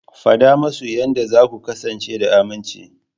Faɗa musu yadda za ku kasance da aminci.